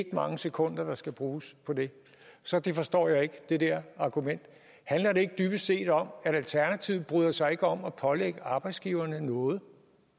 mange sekunder der skal bruges på det så jeg forstår ikke det der argument handler det ikke dybest set om at alternativet ikke bryder sig om at pålægge arbejdsgiverne noget